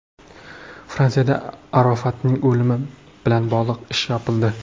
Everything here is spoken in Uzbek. Fransiyada Arofatning o‘limi bilan bog‘liq ish yopildi.